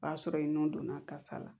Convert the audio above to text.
O b'a sɔrɔ ye nɔn donna kasa la